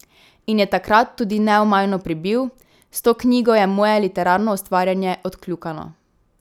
In je takrat tudi neomajno pribil: 'S to knjigo je moje literarno ustvarjanje odkljukano ...